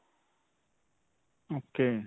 ok.